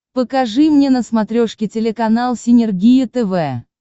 покажи мне на смотрешке телеканал синергия тв